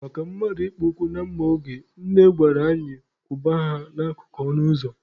Maka mmadụ ịkpọ ụkwụ na mma oge, Nne gwara anyị kwụba ha n'akụkụ ọnụ ụzọ.